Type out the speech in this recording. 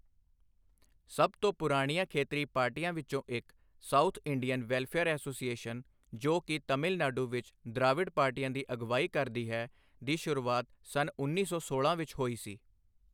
ਸਭ ਤੋਂ ਪੁਰਾਣੀਆਂ ਖੇਤਰੀ ਪਾਰਟੀਆਂ ਵਿੱਚੋਂ ਇੱਕ, ਸਾਊਥ ਇੰਡੀਅਨ ਵੈਲਫੇਅਰ ਐਸੋਸੀਏਸ਼ਨ, ਜੋ ਕਿ ਤਮਿਲ ਨਾਡੂ ਵਿੱਚ ਦ੍ਰਾਵਿੜ ਪਾਰਟੀਆਂ ਦੀ ਅਗਵਾਈ ਕਰਦੀ ਹੈ, ਦੀ ਸ਼ੁਰੂਆਤ ਸੰਨ ਉੱਨੀ ਸੌ ਸੋਲਾਂ ਵਿੱਚ ਹੋਈ ਸੀ।